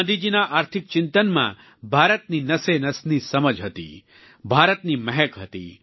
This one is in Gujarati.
ગાંધીજીના આર્થિક ચિંતનમાં ભારતની નસેનસની સમજ હતી ભારતની મહેક હતી